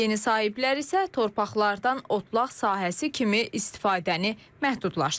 Yeni sahiblər isə torpaqlardan otlaq sahəsi kimi istifadəni məhdudlaşdırıb.